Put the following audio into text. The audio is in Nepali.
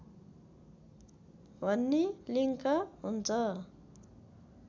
भन्ने लिङ्क हुन्छ